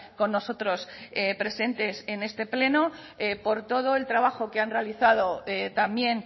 con nosotros presentes en este pleno por todo el trabajo que han realizado también